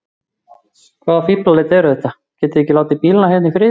Hvaða fíflalæti eru þetta. getiði ekki látið bílana hérna í friði!